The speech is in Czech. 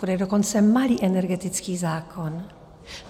Bude dokonce malý energetický zákon.